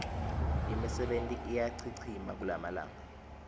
imisebenti iyachichima kulamalanga